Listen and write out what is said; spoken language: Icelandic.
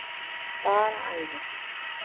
Bara æði.